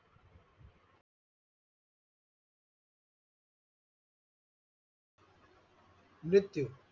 मृत्यू.